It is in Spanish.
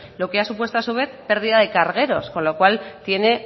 lo que ha supuesto a su vez pérdida de cargueros con lo cual tiene